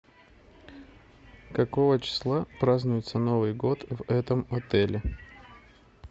какого числа празднуется новый год в этом отеле